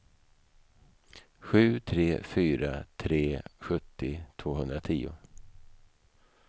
sju tre fyra tre sjuttio tvåhundratio